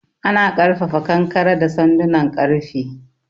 Ana ƙarfafa kankare da sandunan ƙarfe.